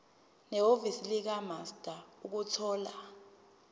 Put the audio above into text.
nehhovisi likamaster ukuthola